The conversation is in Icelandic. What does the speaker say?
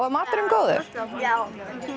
var maturinn góður já